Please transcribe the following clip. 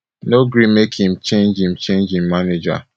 no gree make im change im change im manager